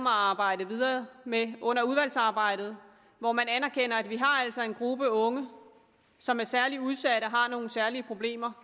at arbejde videre med under udvalgsarbejdet når man anerkender at vi altså har en gruppe unge som er særlig udsat og har nogle særlige problemer